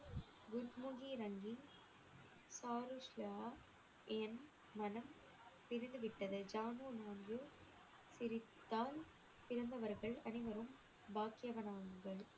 என் மனம் திருந்துவிட்டது சிரித்தான் பிறந்தவர்கள் அனைவரும் பாக்கியவான்